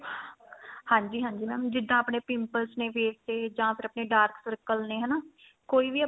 ਹਾਂਜੀ ਹਾਂਜੀ mam ਜਿੱਦਾਂ ਆਪਣੇ pimples ਨੇ face ਤੇ ਜਾਂ ਫੇਰ ਆਪਣੇ dark circle ਨੇ ਹਨਾ ਕੋਈ ਵੀ ਆ